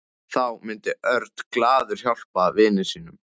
Þá myndi Örn glaður hjálpa vini sínum.